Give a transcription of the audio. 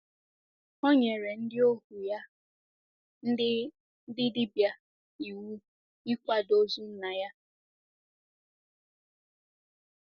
O nyere “ ndị ohu ya, ndị ndị dibịa, iwu ịkwado ozu nna ya. ”